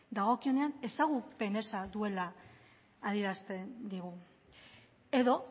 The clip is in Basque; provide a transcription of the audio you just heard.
dagokionean ezagupen eza duela adierazten digu edo